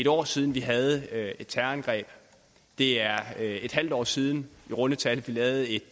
år siden vi havde et terrorangreb det er et halvt år siden i runde tal at vi lavede et